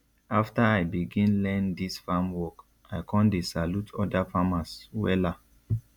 after i begin learn dis farm work i con dey salute oda farmers wella